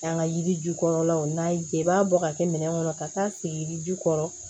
An ka yiri ju kɔrɔlaw n'a y'i diya i b'a bɔ ka kɛ minɛn kɔnɔ ka taa sigi yirijukɔrɔ